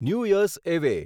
new year's eve